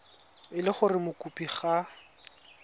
e le gore mokopi ga